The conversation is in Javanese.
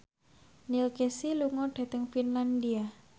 Neil Casey lunga dhateng Finlandia